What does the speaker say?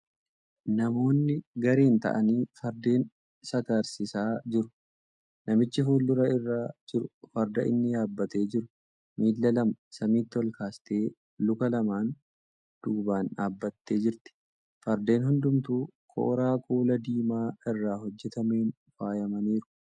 Namoonni gareen ta'anii fardeen sakarsiisaa jiru. Namichi fuuldura irra jiru farda inni yaabbatee jiru miila lama samiitti olkaastee luka lamaan duuban dhaabbattee jirti. Fardeen hundumtuu kooraa kuula diimaa irraa hojjatameen faayamaniiru.